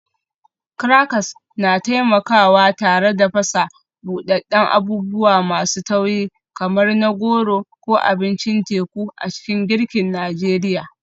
Crackers na taimakawa tare da fasa buɗaɗɗen abubuwa masu tauri kamar na goro ko abincin teku a cikin girkin Najeriya.